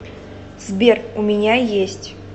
сбер у меня есть